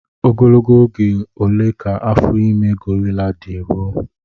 Ogologo oge ole ka afọ ime gorila dị ruo?